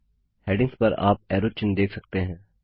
headings पर आप arrow चिन्ह देख सकते हैं